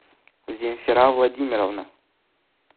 земфира владимировна